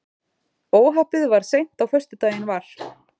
Óhappið varð seint á föstudaginn var